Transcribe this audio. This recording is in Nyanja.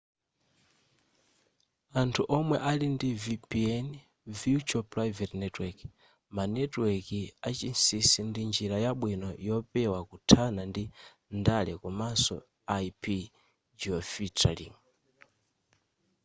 anthu omwe ali ndi vpn virtual private network ma netiweki achinsinsi ndi njira yabwino yopewa kuthana ndi ndale komanso ip geofiltering